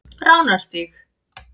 Ránarstíg